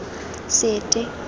sete